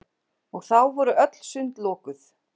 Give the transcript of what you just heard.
Og þá voru öll sund lokuð!